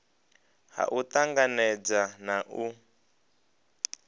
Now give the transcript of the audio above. ha u tanganedza na u